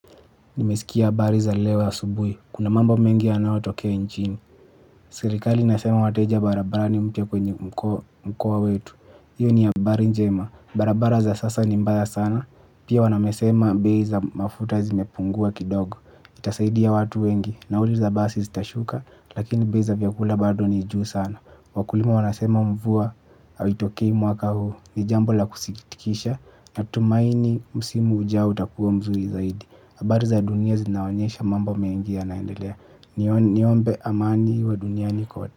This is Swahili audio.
Nimesikia habari za leo asubuhi kuna mambo mengi yanayo tokea inchini. Serikali inasema wateja barabarani mpya kwenye mkoa wetu, hiyo ni habari njema. Barabara za sasa ni mbaya sana pia wamesema bei za mafuta zimepungua kidogo, itasaidia watu wengi. Nauli za basi zitashuka lakini bei za viakula bado ni juu sana, wakulima wanasema mvua haitokei mwaka huu, ni jambo la kusikitisha natumaini msimu ujao utakuwa mzuri zaidi habari za dunia zinaonyesha mambo mengi yanaendelea niombe amani iwe duniani kote.